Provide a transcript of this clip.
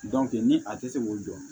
ni a tɛ se k'o dɔn